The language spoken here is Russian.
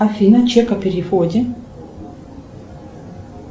афина чек о переводе